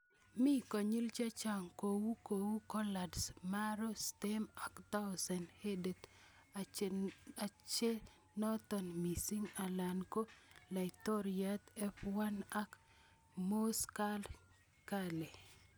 Mi konyil chechang' kou kou collards, marrow stem ak Thousand Headed achenootin missing', alak ko laitoriat F1 ak Moss Curled Kale.